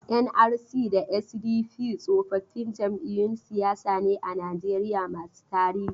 NRC da SDP tsofaffin jam'iyyun siyasa ne a Najeriya masu tarihi.